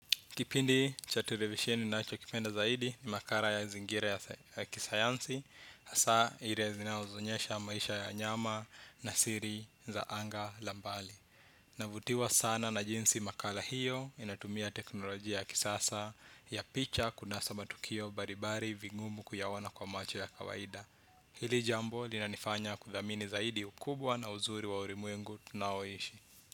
Kipindi cha televisheni nachokipenda zaidi ni makala ya zingira ya kisayansi, hasa ile zinazoonyesha maisha ya nyama na siri za anga la mbali. Navutiwa sana na jinsi makara hiyo inatumia teknolojia ya kisasa ya picha kunasa matukio mbalimbali vingumu kuyaona kwa macho ya kawaida. Hili jambo linanifanya kuthamini zaidi ukubwa na uzuri wa ulimwengu tunaoishi.